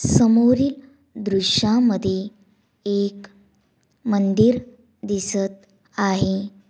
समोरील दृश्यामध्ये एक मंदिर दिसत आहे.